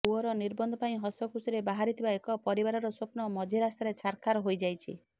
ପୁଅର ନିର୍ବନ୍ଧ ପାଇଁ ହସଖୁସିରେ ବାହାରିଥିବା ଏକ ପରିବାରର ସ୍ବପ୍ନ ମଝି ରାସ୍ତାରେ ଛାରଖାର ହୋଇଯାଇଛି